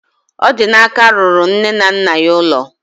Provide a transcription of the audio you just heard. Odinaka rụrụ nne na nna ya ụlọ